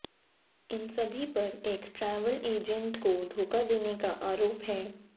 इन सभी पर एक ट्रैवल एजेंट को धोखा देने का आरोप है